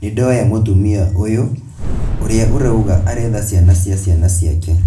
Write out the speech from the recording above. nĩndoya mũtumia ũyũ ũrĩa urauga aretha ciana cia ciana ciake